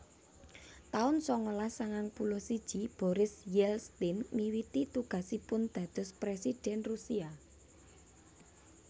taun sangalas sangang puluh siji Boris Yeltsin miwiti tugasipun dados Présidhèn Rusia